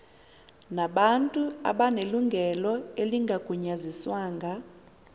nabantu abanelungelo elingagunyaziswanga